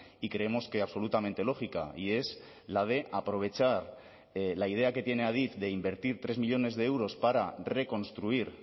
y creemos que absolutamente lógica y es la de aprovechar la idea que tiene adif de invertir tres millónes de euros para reconstruir